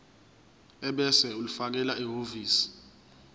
ebese ulifakela ehhovisi